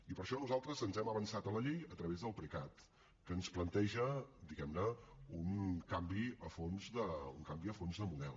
i per això nosaltres ens hem avançat a la llei a través del precat que ens planteja diguem ne un canvi a fons de model